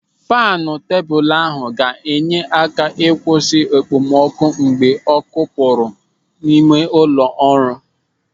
Faanu tebụl ahụ ga-enye aka ịkwụsị okpomọkụ mgbe ọ́kụ́ pụrụ n'ime ụlọ ọrụ.